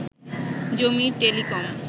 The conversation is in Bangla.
জমির টেলিকম